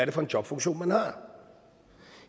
er for en jobfunktion man har